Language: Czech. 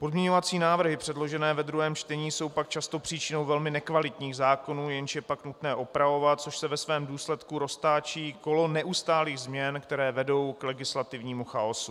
Pozměňovací návrhy předložené ve 2. čtení jsou pak často příčinou velmi nekvalitních zákonů, jež je pak nutné opravovat, čímž se ve svém důsledku roztáčí kolo neustálých změn, které vedou k legislativnímu chaosu.